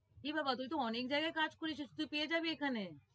এ বাবা তুই তো অনেক জায়গায় কাজ করেছিস, তুই পেয়ে যাবি এখানে।